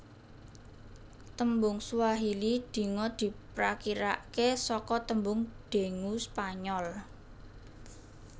Tembung Swahili dinga diprakirake saka tembung dengue Spanyol